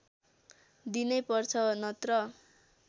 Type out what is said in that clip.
दिनैपर्छ नत्र